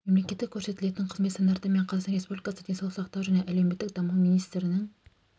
мемлекеттік көрсетілетін қызмет стандарты мен қазақстан республикасы денсаулық сақтау және әлеуметтік даму министрінің